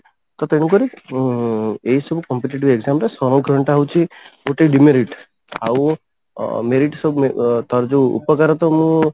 ତ ତେଣୁକରି ଉଁ ଏଇ ସବୁ competitive exam ରେ ସଂରକ୍ଷଣ ଟା ହଉଛି ଗୋଟେ demerit ଆଉ ଅ merit ସବୁ ତାର ଯଉ ଉପକାର ତ ମୁଁ